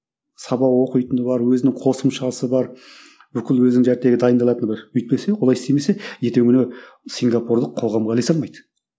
сабақ оқитыны бар өзінің қосымшасы бар бүкіл өзінің дайындалатыны бар өйтпесе олай істемесе ертеңгі күні сингапурлық қоғамға ілесе алмайды